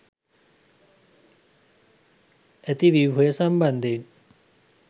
ඇති ව්‍යුහය සම්බන්ධයෙන්